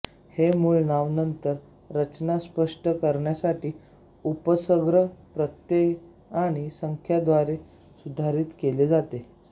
हे मूळ नाव नंतर रचना स्पष्ट करण्यासाठी उपसर्ग प्रत्यय आणि संख्या द्वारे सुधारित केले जाते